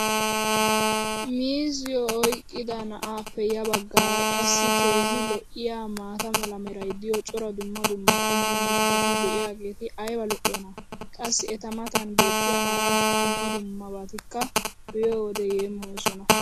miizziyo oyqqida na"aappe ya bagaara qassi keehi lo'iyaa maata mala meray diyo cora dumma dumma qommo mitati diyaageti ayba lo'iyoonaa? qassi eta matan beetiya hara dumma dummabatikka be'iyoode yeemmoyoosona.